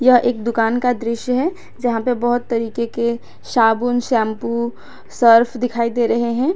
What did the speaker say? यह एक दुकान का दृश्य है जहा पे बहुत तरीके के साबुन शैंपू सर्फ दिखाई दे रहे है।